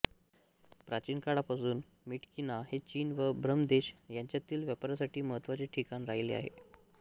प्राचीन काळापासून म्यिटक्यिना हे चीन व ब्रह्मदेश यांच्यातील व्यापारासाठी महत्त्वाचे ठिकाण राहिले आहे